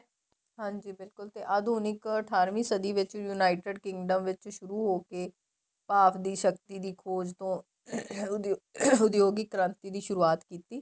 ਹਾਂਜੀ ਬਿਲਕੁਲ ਤੇ ਆਧੁਨਿਕ ਅਠਾਰਵੀਂ ਸਦੀਂ ਵਿੱਚ united kingdom ਵਿੱਚ ਸੁਰੂ ਹੋਕੇ ਭਾਪ ਦੀ ਸ਼ਕਤੀ ਦੀ ਖ਼ੋਜ ਤੋ ਉੱਦਯੋਗਿਕ ਕ੍ਰਾਂਤੀ ਦੀ ਸੁਰੂਆਤ ਕੀਤੀ